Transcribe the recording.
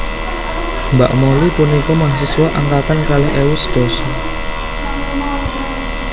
Mbak Molly punika mahasiswa angkatan kalih ewu sedasa